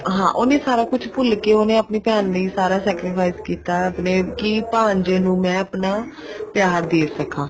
ਹਾਂ ਉਹਨੇ ਸਾਰਾ ਕੁੱਛ ਭੁੱਲ ਕੇ ਉਹਨੇ ਆਪਣੀ ਭੈਣ ਲਈ ਸਾਰਾ sacrifice ਕੀਤਾ ਕੀ ਭਾਣਜੇ ਨੂੰ ਮੈਂ ਆਪਣਾ ਪਿਆਰ ਦੇ ਸਕਾਂ